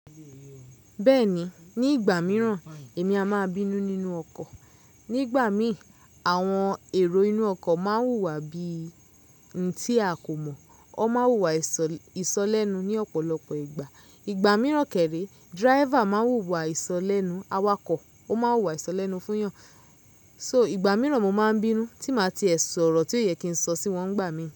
Bẹ́ẹ̀ni, ní ìgbà mìíràn èmi a máa bínú nínú ọkọ̀. Nígbà míì, àwọn èrò inú ọkọ̀ máa ń wùwà bí i ohun tí a kò mọ̀, wọ́n máa wùwà ìsọ lẹ́nu ní ọ̀pọ̀lọpọ̀ ìgbà. Ìgbà mìíràn kẹ̀rẹ̀, driver máa ń wùwà ìsọ lẹ́nu awakọ̀, ó máa wùwà ìsọ lẹ́nu fún yàn. So ìgbà mìíràn mo máa ń bínú tí màá ti ẹ sọ̀rọ̀ tí ó yẹ kí n sọ sí wọn gbá mi.